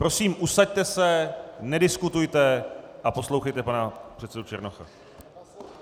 Prosím, usaďte se, nediskutujte a poslouchejte pana předsedu Černocha.